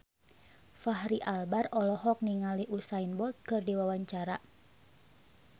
Fachri Albar olohok ningali Usain Bolt keur diwawancara